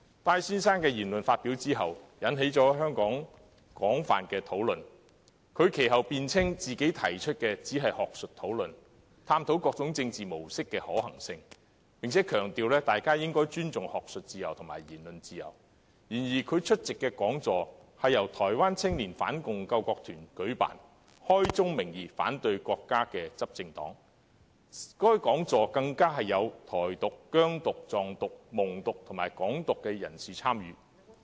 戴先生的言論引起了香港廣泛討論，雖然他其後辯稱他只是提出學術討論，探討各種政治模式的可行性，並強調大家應尊重學術自由和言論自由，但他出席的講座由台灣青年反共救國團舉辦，該團體也是開宗明義反對國家的執政黨，而在講座中更有"台獨"、"疆獨"、"藏獨"、"蒙獨"及"港獨"人士參與。